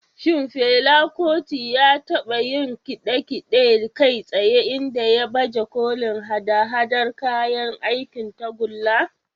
Shin Fela Kuti ya taba yin kide-kide kai tsaye inda ya baje kolin haɗa-haɗar kayan aikin tagulla?